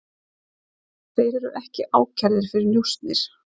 Þeir eru ekki ákærðir fyrir njósnir